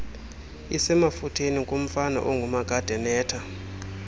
isemafutheni kumfana ongumakadenetha